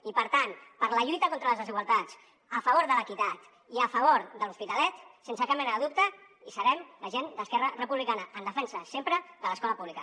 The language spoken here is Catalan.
i per tant per la lluita contra les desigualtats a favor de l’equitat i a favor de l’hospitalet sense cap mena de dubte hi serem la gent d’esquerra republicana en defensa sempre de l’escola pública